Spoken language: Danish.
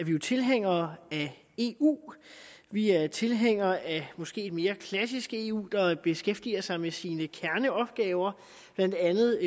vi jo tilhængere af eu vi er tilhængere af et måske mere klassisk eu der beskæftiger sig med sine kerneopgaver blandt andet